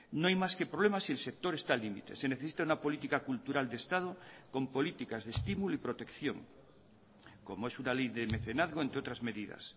no hay más que problemas y el sector está al límite se necesita una política cultural de estado con políticas de estímulo y protección como es una ley de mecenazgo entre otras medidas